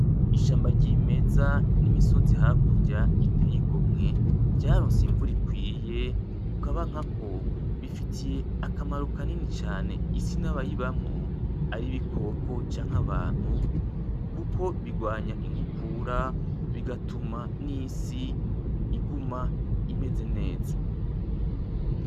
Ishamba ryimeza n'imisozi hakurya iteye igomye vyaronse imvura ikwiye kukaba nkako bifitiye akamaro kanini cane isi nabayibamwo ari ibikoko, canke abantu kuko bigwanya inkukura bigatuma n'isi iguma imeze neza.